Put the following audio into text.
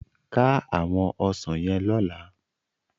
Ká áwòn òsán yèn lòlá